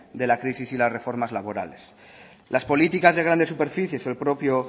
de la crisis y de las reformas laborales las políticas de grandes superficies el propio